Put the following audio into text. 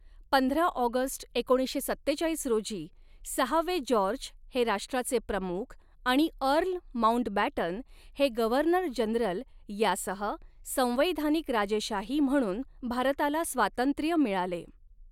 पंधरा ऑगस्ट एकोणीसशे सत्तेचाळीस रोजी, सहावे जॉर्ज हे राष्ट्राचे प्रमुख आणि अर्ल माउंटबॅटन हे गव्हर्नर जनरल यासह, संवैधानिक राजेशाही म्हणून भारताला स्वातंत्र्य मिळाले.